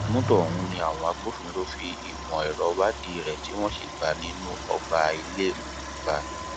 mọtò ọhún ni àwọn agbófinró fi ìmọ ẹrọ wádìí rẹ tí wọn sì bá a nínú ọgbà ilé okumba